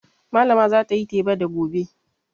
Malama za ta yi teba da gobe.